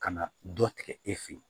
Ka na dɔ tigɛ e fɛ ye